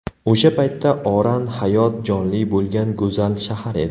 O‘sha paytda Oran hayot jonli bo‘lgan go‘zal shahar edi.